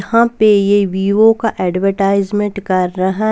यहां पे ये विवो का एडवर्टाइजमेंट कर रहा है.